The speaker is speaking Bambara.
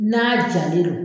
N'a jalen do